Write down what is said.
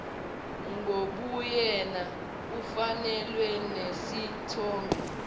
ngobuyena kufakelwa nesithombe